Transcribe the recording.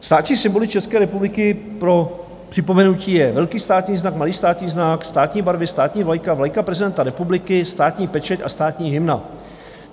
Státní symboly České republiky, pro připomenutí, je velký státní znak, malý státní znak, státní barvy, státní vlajka, vlajka prezidenta republiky, státní pečeť a státní hymna.